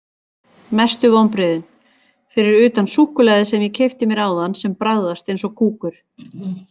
Mestu vonbrigðin: Fyrir utan súkkulaðið sem ég keypti mér áðan sem bragðaðist eins og kúkur.